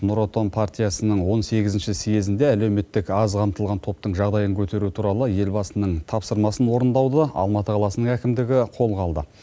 нұр отан партиясының он сегізінші съезінде әлеуметтік аз қамтылған топтың жағдайын көтеру туралы елбасының тапсырмасын орындауды алматы қаласының әкімдігі қолға алды